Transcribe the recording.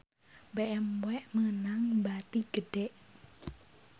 BMW meunang bati gede